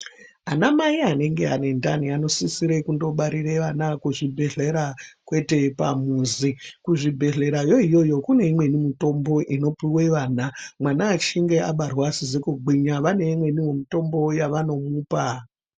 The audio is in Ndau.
Ana mai anenge ane ndani anosisa kundobarira ana kuzvibhedhlera kwete pamuzi kuzvibhedhlera yoiyo Kune imweni mitombo inopuwe vana mwana achinge abarwa asizi kugwinya vane imweni mitombo yavanomupa.